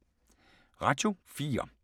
Radio 4